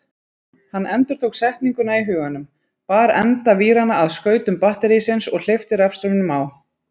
Hann endurtók setninguna í huganum, bar enda víranna að skautum batterísins og hleypti rafstraumnum á.